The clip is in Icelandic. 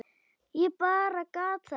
Ég bara gat það ekki.